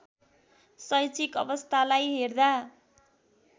शैक्षिक अवस्थालाई हेर्दा